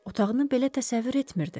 Otağını belə təsəvvür etmirdi.